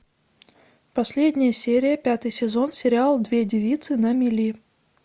последняя серия пятый сезон сериал две девицы на мели